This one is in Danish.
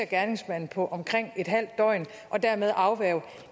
gerningsmanden på omkring et halvt døgn og dermed afværge